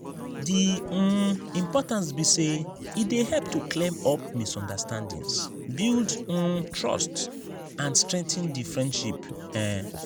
di um importance be say e dey help to clear up misunderstandings build um trust and strengthen di friendship. um